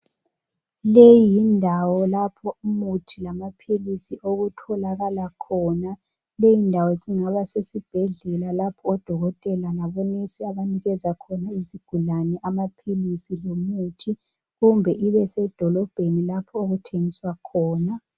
Leyi ndawo lapho umuthi lamaphilisi okutholakala khona. Leyi ndawo singaba sesibhedlela, lapho odokotela labonesi abanikeza khona izigulane amaphilisi lomuthi. Kumbe ibesedolobheni lapho okuthengiswa khona .